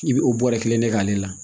I bi o bɔrɛ kelen ne k'ale la